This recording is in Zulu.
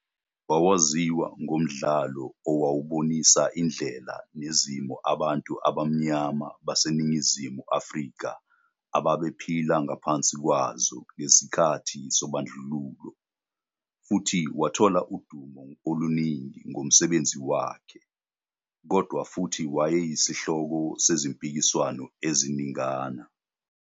Wawaziwa ngomdlalo owawubonisa indlela nezimo abantu abamnyama baseNingizimu Afrika ababephila ngaphansi kwazo ngesikhathi sobandlululo, futhi wathola udumo oluningi ngomsebenzi wakhe, kodwa futhi wayeyisihloko sezimpikiswano eziningana.